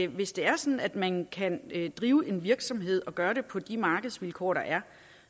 hvis det er sådan at man kan drive en virksomhed og gøre det på de markedsvilkår der er